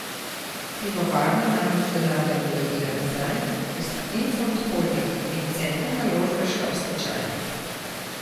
Pivovarna namreč denarja ni dobila nazaj, ker sta Infond Holding in Center naložbe šla v stečaj.